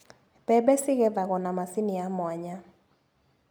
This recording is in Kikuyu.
Mbembe cigethagwo na macini ya mwanya.